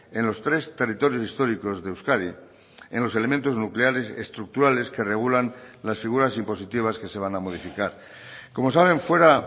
en los tres territorios históricos de euskadi en los elementos nucleares estructurales que regulan las figuras impositivas que se van a modificar como saben fuera